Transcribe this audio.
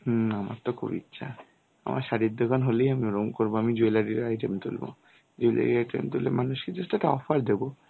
হ্যাঁ আমার তো খুব ইচ্ছা. আমার শাড়ির দোকান হলেই আমি ওরকম করব আমি jewellery item তুলব jewellery item তুললে মানুষ কে just একটা অফার দেব.